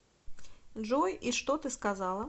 джой и что ты сказала